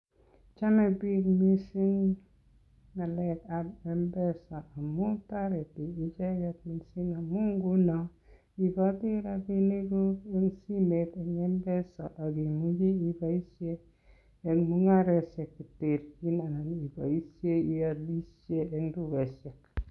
Chome biik mising ng'alekab Mpesa amun, toreti iicheget mising amun nguno iiboti rabinikug en simet en Mpesa ak imuchi iboishen en mung'aroshek cheterjin anan iboishe iolishen en tugoshek.